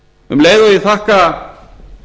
um leið og ég þakka